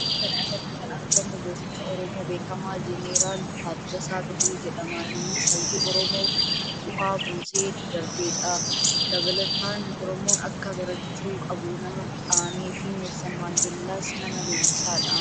Fakkii kana irratti kan argamu gooticha Oromoo beekamaa jeneraal Taaddasaa Birruu jedhama. Innis hayyuu Oromoof bu'aa buusee darbeedha. Dabalataan Oromoon akka barachuu qabuu nama dhaamee fi Neelsen Maandeellaas nama leenjisee dha.